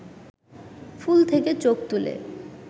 ফুল থেকে চোখ তুলে